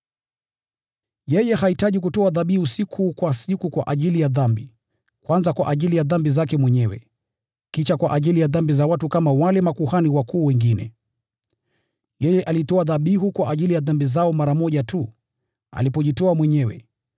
Yeye hahitaji kutoa dhabihu siku kwa siku kwa ajili ya dhambi, kwanza kwa ajili ya dhambi zake mwenyewe, kisha kwa ajili ya dhambi za watu kama wale makuhani wakuu wengine. Yeye alitoa dhabihu kwa ajili ya dhambi zao mara moja tu, alipojitoa mwenyewe.